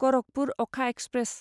गरखपुर अ'खा एक्सप्रेस